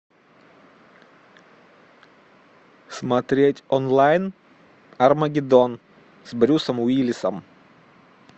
смотреть онлайн армагеддон с брюсом уиллисом